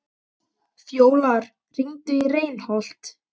Fjólar, hringdu í Reinholt.